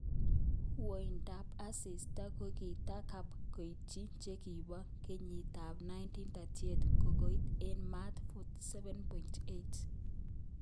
Woindab asista kokitakap koityi chekibo kenyitab 1938 kokait oen mat 47.8.